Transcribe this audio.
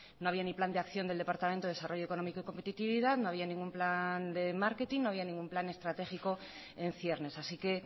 no había ni plan de acción del departamento de desarrollo económico y competitividad no había ningún plan de marketing no había ningún plan estratégico en ciernes así que